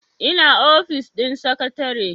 ina ofis din sakatare